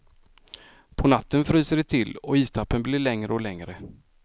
På natten fryser det till och istappen blir längre och längre.